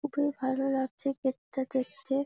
খুবই ভালো লাগছে গেট - টা দেখতে।